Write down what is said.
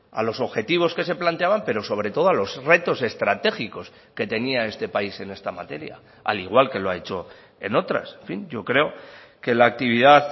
a los objetivos que se planteaban pero sobre todo a los retos estratégicos que tenía este país en esta materia al igual que lo ha hecho en otras en fin yo creo que la actividad